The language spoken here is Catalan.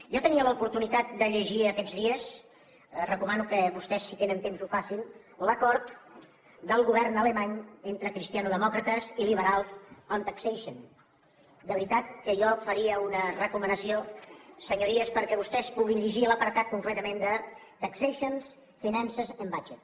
jo tenia l’oportunitat de llegir aquests dies recomano que vostès si tenen temps ho facin l’acord del govern alemany entre cristianodemòcrates i liberals on taxation de veritat que jo faria una recomanació senyories perquè vostès puguin llegir l’apartat concretament de taxations finances and budget